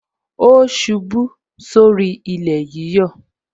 O ṣubú sórí ilé yíyọ